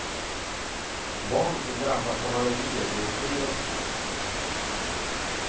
Barn som drabbas av allergier blir fler och fler.